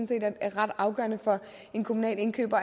det er ret afgørende at en kommunal indkøber